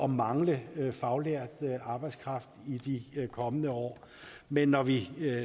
mangle faglært arbejdskraft i de kommende år men når vi